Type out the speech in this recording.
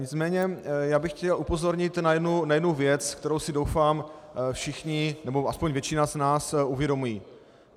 Nicméně já bych chtěl upozornit na jednu věc, kterou si, doufám, všichni, nebo aspoň většina z nás uvědomuje.